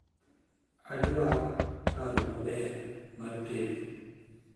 adwar pero maber mar tedo